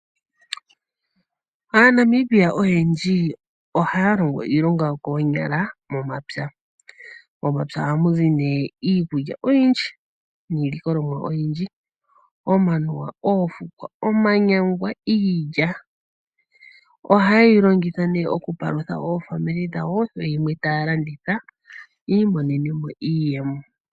AaNamibia oyendji ohaya longo iilonga yokoonyala momapya, momapya oha muzi nee iikulya oyindji niilikolomwa oyindji omanuwa ,oofukwa, omanyangwa, iilya, oha yeyi longitha nee okupalutha oofamili dhawo nenge yimwe taya landitha yiimonene mo iiyemo.